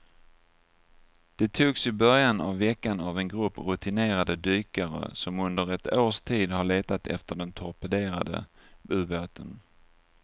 De togs i början av veckan av en grupp rutinerade dykare som under ett års tid har letat efter den torpederade ubåten.